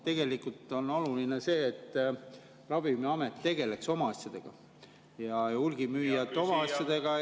Tegelikult on oluline see, et Ravimiamet tegeleks oma asjadega ja hulgimüüjad oma asjadega …